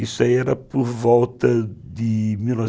Isso era por volta de mil novecentos